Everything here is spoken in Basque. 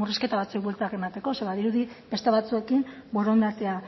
murrizketa batzuei bueltak emateko ze badirudi beste batzuekin borondatea